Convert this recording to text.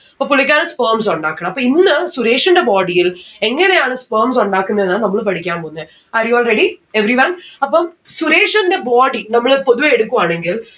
അപ്പൊ പുള്ളിക്കാരൻ sperms ഉണ്ടാക്കണം. അപ്പോ ഇന്ന് സുരേഷിന്റെ body ൽ എങ്ങനെയാണ് sperms ഉണ്ടാക്കുന്നെ എന്നാ നമ്മള് പഠിക്കാൻ പോവുന്നെ. are you all ready? everyone അപ്പം സുരേഷിൻറെ body നമ്മള് പൊതുവെ എടുക്കുവാണെങ്കിൽ